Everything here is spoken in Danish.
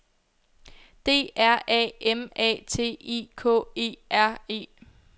D R A M A T I K E R E